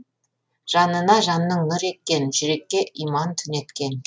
жанына жанның нұр еккен жүрекке иман түнеткен